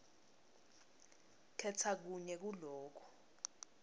khetsa kunye kuloku